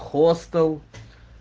хостел